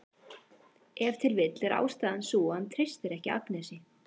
Ef til vill er ástæðan sú að hann treystir ekki Agnesi.